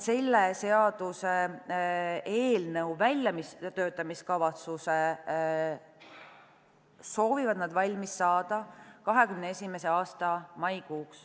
Selle seaduseelnõu väljatöötamiskavatsuse soovivad nad valmis saada 2021. aasta maikuuks.